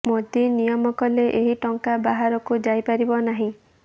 ମୋଦି ନିୟମ କଲେ ଏହି ଟଙ୍କା ବାହାରକୁ ଯାଇପାରିବ ନାହିଁ